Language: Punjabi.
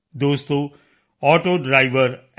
ਦੋਸਤੋ ਆਟੋ ਡਰਾਈਵਰ ਐੱਮ